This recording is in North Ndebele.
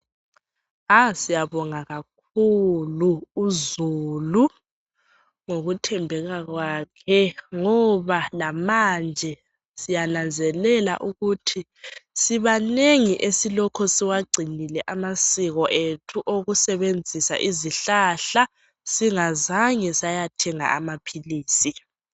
Ah siyabonga kakhulu uzulu ngokuthembeka kwakhe ngoba lamanje siyananzelela ukuthi sibanengi esilokho siwagcinile amasiko ethu okusebenzisa izihlahla, singazange sayathenga amaphilisi.